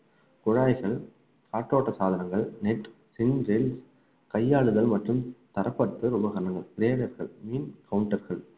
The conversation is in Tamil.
குழாய்கள் காற்றோட்ட சாதனங்கள் net கையாளுதல் மற்றும் தரப்பட்டு